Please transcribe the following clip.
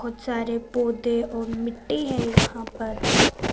बहोत सारे पोधै ओर मिट्टी हैं यहाँ पर--